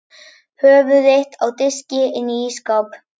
Höfuð þitt á diski inni í ísskáp!